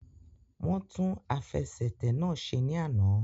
Wọ́n tún àfẹsẹ̀tẹ̀ náà ṣe ní àná